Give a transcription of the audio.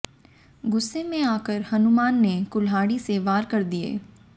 गुस्से में आकर हनुमान ने कुल्हाड़ी से वार कर दिए